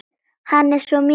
Hann er svo mikið yndi.